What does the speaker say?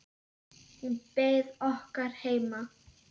Hún beið okkar heima.